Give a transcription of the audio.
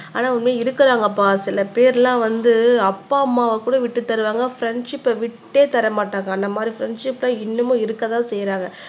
ஆனா உண்மையிலேயே இருக்குறாங்கபா சில பேர் எல்லாம் வந்து அப்பா அம்மாவ கூட விட்டு தருவாங்க ஃப்ரெண்ட்ஸிப்ப விட்டே தர மாட்டாங்க அந்த மாதிரி ஃப்ரண்ட்ஷிப்லாம் இன்னமும் இருக்கதான் செய்றாங்க